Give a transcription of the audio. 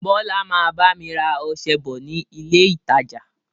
Bọlá máa bá mi rà ọsẹ bọ̀ ni ilé ìtajà